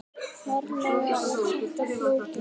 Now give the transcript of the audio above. Ferlega er þetta flókið!